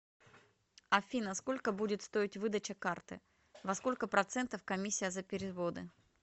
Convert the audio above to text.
афина сколько будет стоить выдача карты во сколько процентов комиссия за переводы